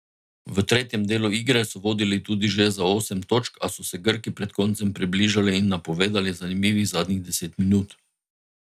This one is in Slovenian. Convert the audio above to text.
V tretjem delu igre so vodili tudi že za osem točk, a so se Grki pred koncem približali in napovedali zanimivih zadnjih deset minut.